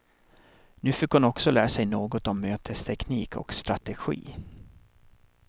Nu fick hon också lära sig något om mötesteknik och strategi.